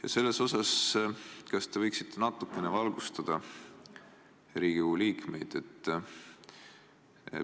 Kas te võiksite Riigikogu liikmetele natukene olukorda valgustada?